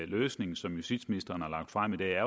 løsning som justitsministeren har lagt frem i dag